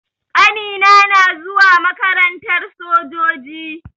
Ƙanina na zuwa makarantar sojoji.